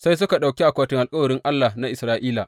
Sai suka ɗauki akwatin alkawarin Allah na Isra’ila.